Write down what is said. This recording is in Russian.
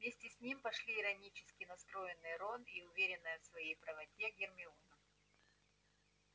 вместе с ним пошли иронически настроенный рон и уверенная в своей правоте гермиона